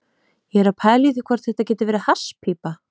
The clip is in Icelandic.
Ég er að pæla í því hvort þetta geti verið hasspípa.